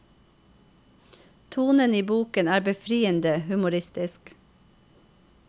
Tonen i boken er befriende humoristisk.